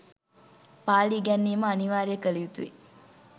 පාලි ඉගැන්වීම අනිවාර්යය කළ යුතුයි.